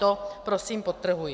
To prosím podtrhuji.